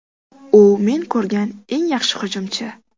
U men ko‘rgan eng yaxshi hujumchi.